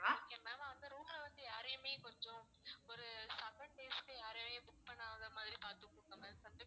okay ma'am அந்த room ல வந்து யாரையுமே கொஞ்சம் ஒரு seven days க்கு யாரையுமே book பண்ணாத மாதிரி பாத்துக்கோங்க ma'am வந்து